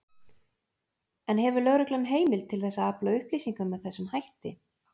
En hefur lögreglan heimild til þess að afla upplýsinga með þessum hætti?